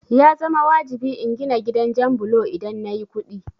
Ya zama wajibi in gina gidan jan bulo idan nayi kuɗi